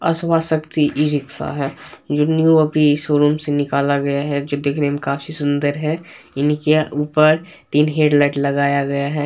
अश्वशाक्ति e rickshaw है जो new अभी शोरूम निकला गया जो देखने में बहुत सुंदर है इनके ऊपर तीन हेडलाइट लगाया गया है।